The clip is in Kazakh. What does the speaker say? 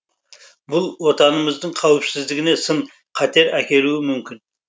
бұл отанымыздың қауіпсіздігіне сын қатер әкелуі мүмкін